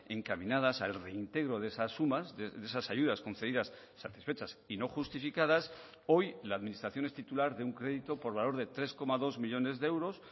encaminadas al reintegro de esas sumas de esas ayudas concedidas satisfechas y no justificadas hoy la administración es titular de un crédito por valor de tres coma dos millónes de euros